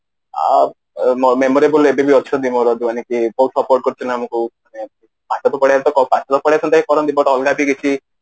ଆଉ memorable ମୋର ଯୋଉମାନେ କି ବହୁତ support କରୁଛନ୍ତି ଆମକୁ ପାଠ ତ ପଢିବା ସହିତ